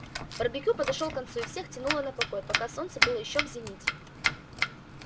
барбекю подошёл к концу и всех тянуло на покой пока солнце было ещё в зените